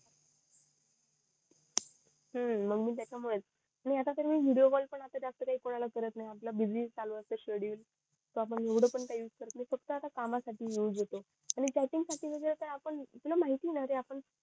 हम्म त्याच्या मुळेच आता मी त विडिओ कॉल पण जास्त कोणाला करत नई आपलं बीजी चालू असत शेड्युल तर आपण येवढं काही यूज नई करत फक्त आता कामा साठी यूज होतो आणि चाटींग साठी वैगेरे काय आपण तुला माहिती ये ना रे आपण